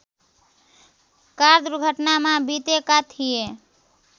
car दुर्घटनामा बितेका थिए